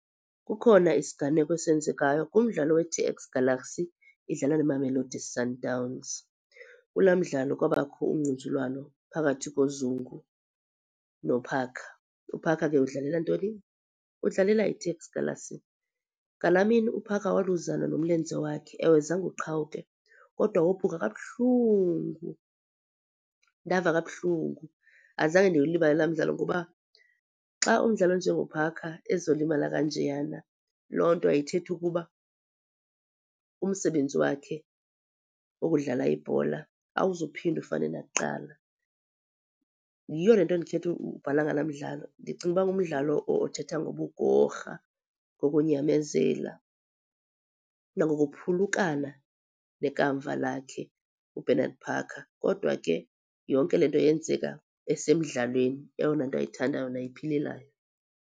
Kukhona isiganeko esenzekayo kumdlalo we-T_S Galaxy idlala neMamelodi Sundowns. Kula mdlalo kwabakho ungquzulwano phakathi koZungu noParker. UParker ke udlalela ntoni? Udlalela i-T_S Galaxy. Ngala mini uParker waluzana nomlenze wakhe. Ewe, zange uqhawuke kodwa wophuka kabuhlungu. Ndava kabuhlungu. Azange ndiwulibale la midlalo ngoba xa umdlali onjenoParker ezolimala kanjeyana, loo nto ithetha ukuba umsebenzi wakhe wokudlala ibhola awuzuphinda ufane nakuqala. Yiyo le nto ndikhetha ukubhala ngala mdlalo ndicinga ukuba ngumdlalo othetha ngobugorha, ngokunyamezela, nangokuphulukana nekamva lakhe uBernard Parker. Kodwa ke yonke le nto yenzeka esemdlalweni eyona nto ayithandayo nayiphilelayo.